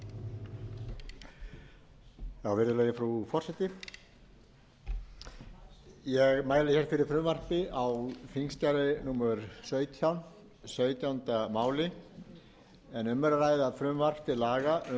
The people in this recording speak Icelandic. forseti ég mæli hér fyrir frumvarpi á þingskjali númer sautján sautjánda mál þingsins en um er að ræða frumvarp til laga